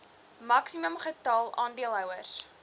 maksimum getal aandeelhouers